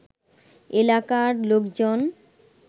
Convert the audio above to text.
এলাকার লোকজন